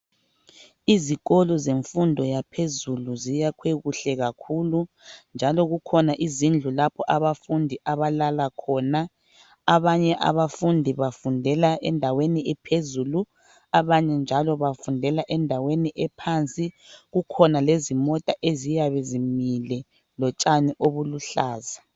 izikolo zemfundo yaphezuluziyakhe kuhlekakhulu njalo kukhona izindlu lapha okulala khona abafundi, abanye abafundi bafundla endaweni ephezulu abnye njalo bafundela endaweni ephansi kukhona lezimota eziyabe zimile lotshani obuluhlaza.